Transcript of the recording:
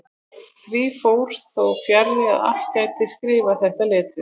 Því fór þó fjarri að allir gætu skrifað þetta letur.